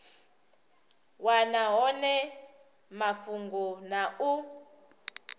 wana hone mafhungo na u